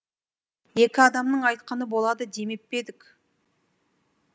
екі адамның айтқаны болады демеп пе едік